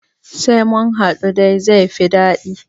Sai munhaɗu dai zaifi daɗi